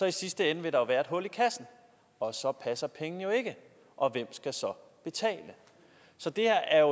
i sidste ende være et hul i kassen og så passer pengene jo ikke og hvem skal så betale så det her er